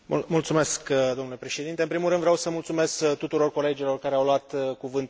În primul rând, vreau să mulțumesc tuturor colegilor care au luat cuvântul în această dezbatere.